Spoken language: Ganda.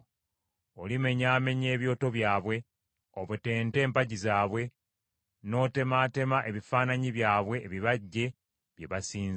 Olimenyaamenya ebyoto byabwe, obetente empagi zaabwe, n’otemaatema ebifaananyi byabwe ebibajje bye basinza.